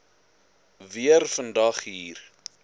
weer vandag hier